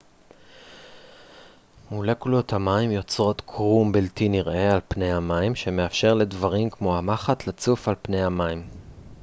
מולקולות המים יוצרות קרום בלתי נראה על פני המים שמאפשר לדברים כמו המחט לצוף על פני המים